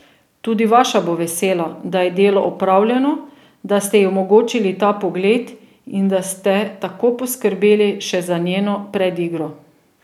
Tudi vaša bo vesela, da je delo opravljeno, da ste ji omogočili ta pogled in da ste tako poskrbeli še za njeno predigro.